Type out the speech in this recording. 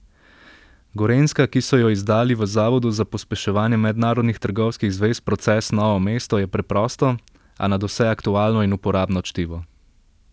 Gorenjska, ki so jo izdali v Zavodu za pospeševanje mednarodnih trgovskih zvez Progres Novo mesto, je preprosto, a nadvse aktualno in uporabno čtivo.